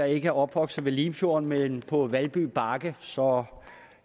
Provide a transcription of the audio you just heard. ikke er opvokset ved limfjorden men på valbybakke så